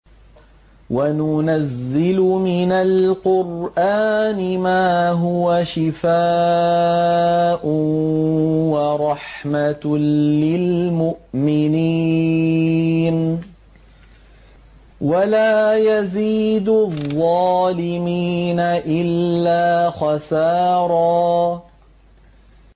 وَنُنَزِّلُ مِنَ الْقُرْآنِ مَا هُوَ شِفَاءٌ وَرَحْمَةٌ لِّلْمُؤْمِنِينَ ۙ وَلَا يَزِيدُ الظَّالِمِينَ إِلَّا خَسَارًا